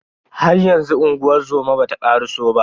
Haryanzu unguwar zoma bata karaso ba.